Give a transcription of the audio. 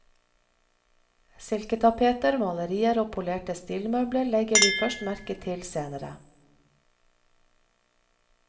Silketapeter, malerier og polerte stilmøbler legger vi først merke til senere.